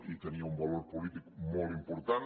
i tenia un valor polític molt important